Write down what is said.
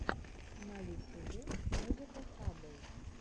на ютюбе музыка хаббл